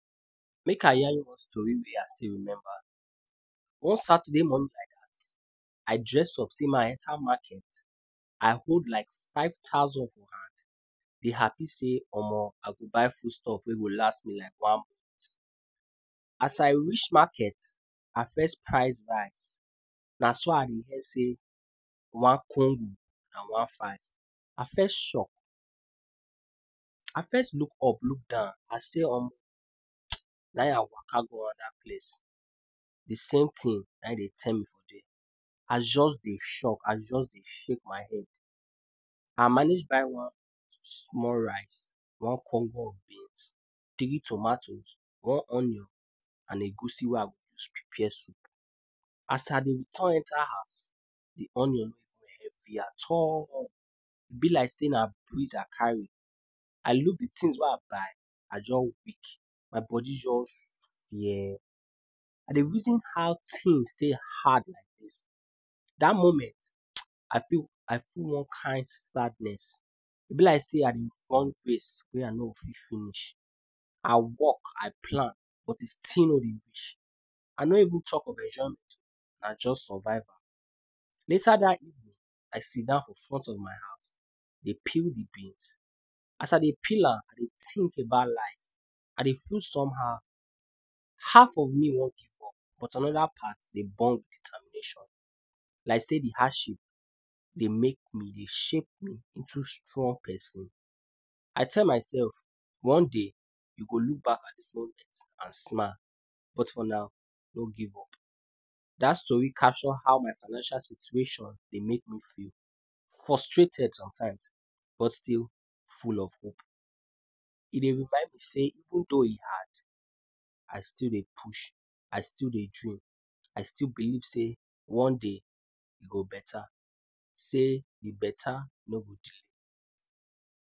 Make I yarn you one story wey I still remember, one Saturday morning like dat, I dress up sey make I enter market, I hold like five thousand for hand dey happy sey omo, I go buy foodstuff wey go last me like one month. As I reach market, I first price rice na so I say one congo na one five, I first shock, I first look up, look down, I say omo, na im I waka go other place, de samething na im dem tell me for there. I just dey shock, I just dey shake my head. I manage buy one small rice, one congo of beans, three tomatoes, one onion and egusi wey I go use prepare soup. As I dey return enter house di onion nor even heavy at all, e be like say na breeze I carry, I look di things wey I buy I jus weak, my body just I dey reason how things take hard like dis, dat moment I feel I feel one kind sadness, e be like say I dey run race wey I no o fit finish. I work, I plan but e still nor reach, I nor even talk of and jus survive. Later dat evening, I sit dan for front of my house dey peel di beans, as I dey peel am I dey think about life, I dey feel somehow, half of me wan give up but another part dey burn with determination like sey di hardship dey make me, dey shape me into strong person. I tell myself, one day you go look at di smallness and smile, but for now don’t give up. Dat story catch how my financial situation dey make me feel frustrated sometimes, but still full of hope. E dey remind me sey even though e hard, I still dey push, I still dey dream, I still believe say one day e go better, say di better nor go delay.